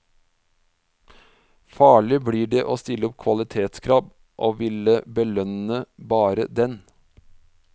Farlig blir det å stille opp kvalitetskrav og ville belønne bare den.